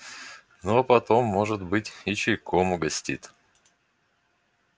ну а потом может быть и чайком угостит